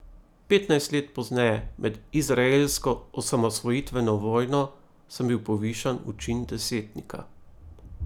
Petnajst let pozneje, med izraelsko osamosvojitveno vojno, sem bil povišan v čin desetnika.